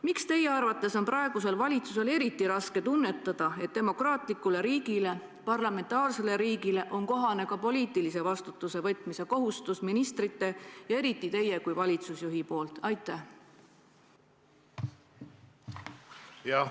Miks teie arvates on praegusel valitsusel eriti raske tunnetada, et demokraatlikus riigis, parlamentaarses riigis on kohane ka poliitilise vastutuse võtmise kohustus ministrite ja eriti teie kui valitsusjuhi poolt?